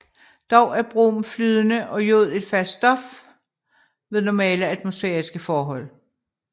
Dog er brom flydende og jod et fast stof ved normale atmosfæriske forhold